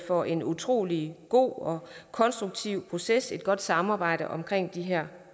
for en utrolig god og konstruktiv proces og et godt samarbejde omkring de her